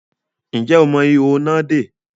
Ǹjẹ́ o mọ ihò iná dè?